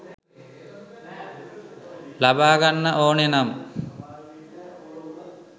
ලබා ගන්න ඕනෙනම්